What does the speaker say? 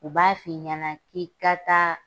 U b'a f'i ɲɛna k'i ka taa